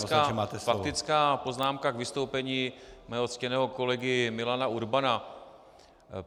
Skutečně faktická poznámka k vystoupení mého ctěného kolegy Milana Urbana.